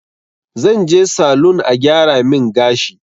Zan je salun a gyara min gashi